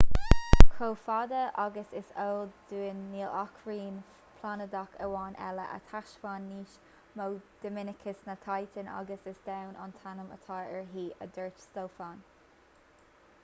chomh fada agus is eol dúinn níl ach rinn phláinéadach amháin eile a thaispeánann níos mó dinimicis ná titan agus is domhan an t-ainm atá uirthi a dúirt stofan